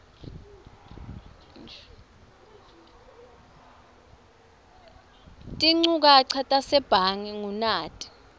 tinchukaca tasebhange ngunati